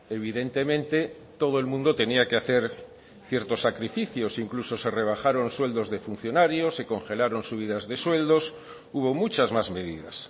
evidentemente todo el mundo tenía que hacer ciertos sacrificios incluso se rebajaron sueldos de funcionario se congelaron subidas de sueldos hubo muchas más medidas